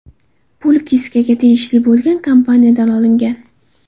Pul Kiskaga tegishli bo‘lgan kompaniyadan olingan.